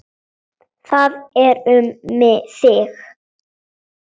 Það er um þig.